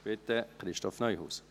Bitte, Christoph Neuhaus.